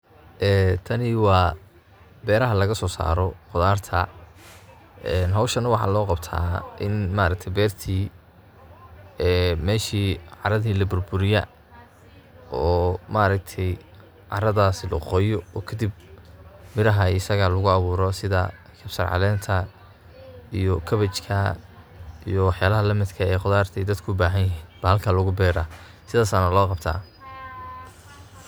ee tani waa beraha lagaso saaro qudarta, ee hoshan waxa loo qabta in ma aragte bertii ee meshi caradi laburburiya oo ma aragte caradaasi la qoya oo kadib mirahaa asaga ah lugu abuuro sida musaacideynta iyo kabejka iyo wax yalaha lamidka ah, qudurta ay dadku ubahanyihin bahalka lugu beraa sidas ayana loo qabta